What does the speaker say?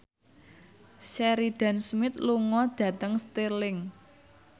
Sheridan Smith lunga dhateng Stirling